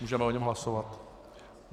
Můžeme o něm hlasovat.